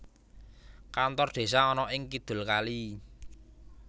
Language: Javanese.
Kantor Desa ana ing kidul kali